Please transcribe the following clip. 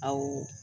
Awɔ